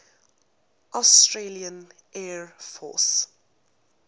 australian air force